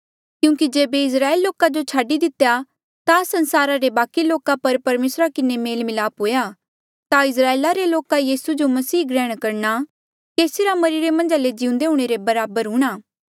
क्यूंकि जेबे इस्राएल लोका जो छाडी दितेया ता संसारा रे बाकि लोका रा परमेसरा किन्हें मेल मिलाप हुआ ता इस्राएला रे लोका रा यीसू जो मसीह ग्रहण करणा केसी रा मरिरे मन्झा ले जिउंदा हूंणे रे बराबर हूणा